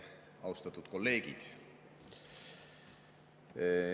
Austatud kolleegid!